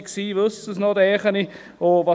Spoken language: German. Wer dabei war, weiss es noch, denke ich.